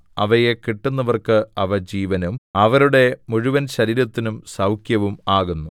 അവയെ കിട്ടുന്നവർക്ക് അവ ജീവനും അവരുടെ മുഴുവൻശരീരത്തിനും സൗഖ്യവും ആകുന്നു